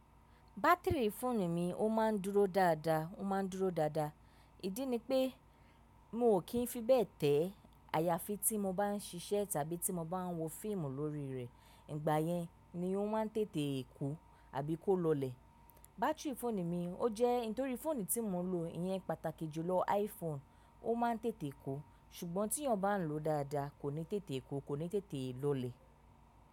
Bátìrì fóònù mi ó ma ń dúró dáadáa, ó ma ń dúró dáadáa. Ìdí ni pé mi ò kí ń fi bẹ́ẹ̀ tẹ̀ ayafi tí mo bá ń ṣíṣẹ́ tàbí tí mo bá ń wo fíìmù lórí rẹ̀. Ìgbà yẹn ni ó máa ń tètè kú àbí kó lọlẹ̀. Bátìrì fóònù mi ó jẹ́ nítorí fóònù tí mo ń lò yẹn pàtàkì jù lọ iPhone ó máa ń tètè kú. Ṣùgbọ́n tí èèyàn bá ń lò ó dáadáa kò ní tètè kú, kò ní tètè lọlẹ̀.